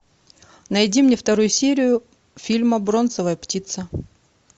найди мне вторую серию фильма бронзовая птица